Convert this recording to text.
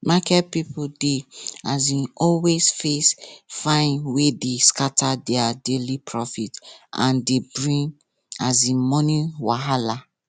market people dey um always face fine wey dey scatter their daily profit and dey bring um money wahala